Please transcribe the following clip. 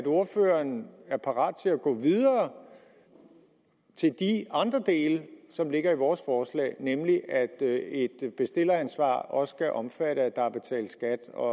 ordføreren er parat til at gå videre til de andre dele som ligger i vores forslag nemlig at et bestilleransvar også skal omfatte at der er betalt skat og